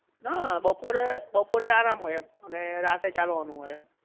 ના બપોરે, બપોરે આરામ હોય એમ અને રાતે ચાલવાનું હોય